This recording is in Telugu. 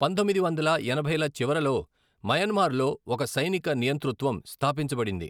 పంతొమ్మిది వందల ఎనభైల చివరలో మయన్మార్ లో ఒక సైనిక నియంతృత్వం స్థాపించబడింది.